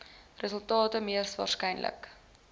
resultate mees waarskynlik